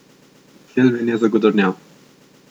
Kilvin je zagodrnjal.